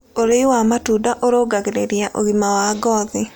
Ũrĩĩ wa matũnda ũrũngagĩrĩrĩa ũgima wa ngothĩ